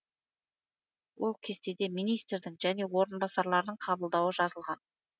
ол кестеде министрдің және орынбасарларының қабылдауы жазылған